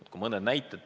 Toon mõne näite.